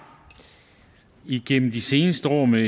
igennem de seneste år med